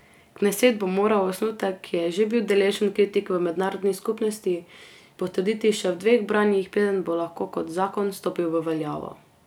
Kneset bo moral osnutek, ki je že bil deležen kritik v mednarodni skupnosti, potrditi še v dveh branjih, preden bo lahko kot zakon stopil v veljavo.